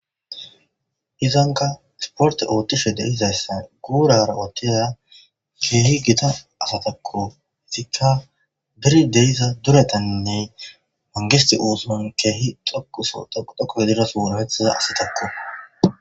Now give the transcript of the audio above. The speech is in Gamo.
izanka sporte ootishe deizaysse guurara otiya keehi gita asatakko hesika diri deiza duretaninney mangisti uusumon keehi toku soota gudako yeliras worafethaza asitakko